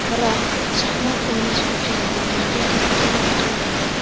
Biroq shaxmat o‘ynash uchun bu menga to‘sqinlik qilmaydi.